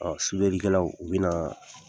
Ɔ Sudelikɛlaw bɛna